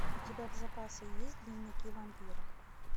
у тебя в запасе есть дневники вампира